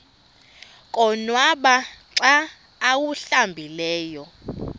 konwaba xa awuhlambileyo